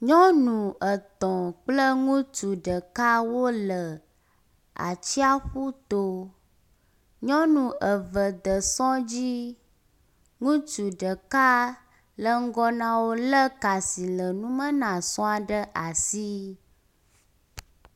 Nyɔnu etɔ̃ kple ŋutsu ɖeka wole atsiaƒu to, nyɔnu eve de sɔ dzi, ŋutsu ɖeka le ŋgɔ na wo lé ka si le numa na esɔa ɖe asi.